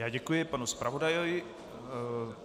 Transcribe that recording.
Já děkuji panu zpravodaji.